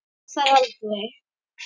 Sá það aldrei